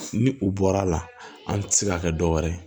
Ni u bɔra la an ti se ka kɛ dɔ wɛrɛ ye